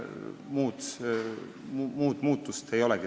Muud muutust seal ei olegi.